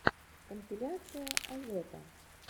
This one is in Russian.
компиляция азота